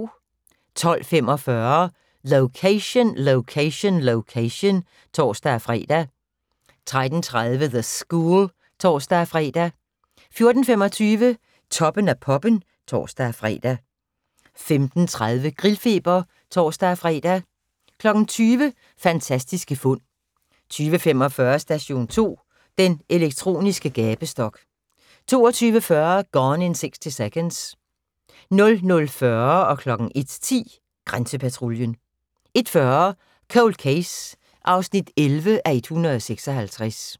12:45: Location, Location, Location (tor-fre) 13:30: The School (tor-fre) 14:25: Toppen af poppen (tor-fre) 15:30: Grillfeber (tor-fre) 20:00: Fantastiske fund 20:45: Station 2: Den elektroniske gabestok 22:40: Gone in 60 Seconds 00:40: Grænsepatruljen 01:10: Grænsepatruljen 01:40: Cold Case (11:156)